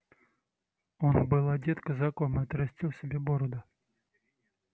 он был одет казаком и отрастил себе бороду